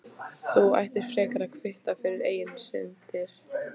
Þú ættir frekar að kvitta fyrir eigin syndir.